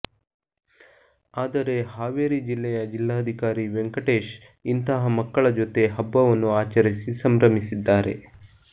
ಆದರೆ ಹಾವೇರಿ ಜಿಲ್ಲೆಯ ಜಿಲ್ಲಾಧಿಕಾರಿ ವೆಂಕಟೇಶ್ ಇಂತಹ ಮಕ್ಕಳ ಜೊತೆ ಹಬ್ಬವನ್ನು ಆಚರಿಸಿ ಸಂಭ್ರಮಿಸಿದ್ದಾರೆ